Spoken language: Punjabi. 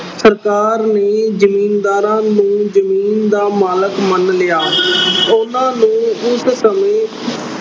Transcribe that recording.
ਸਰਕਾਰ ਨੇ ਜ਼ਿੰਮੀਦਾਰਾਂ ਨੂੰ ਜ਼ਮੀਨ ਦਾ ਮਾਲਕ ਮੰਨ ਲਿਆ। ਉਹਨਾਂ ਨੂੰ ਉਸ ਸਮੇਂ